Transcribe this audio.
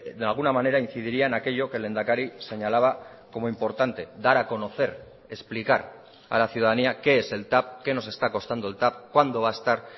de alguna manera incidiría en aquello que el lehendakari señalaba como importante dar a conocer explicar a la ciudadanía qué es el tav qué nos está costando el tav cuándo va a estar